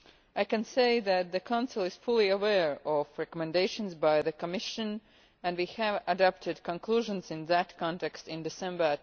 I can say that the Council is fully aware of recommendations by the Commission and we adopted conclusions in that context in December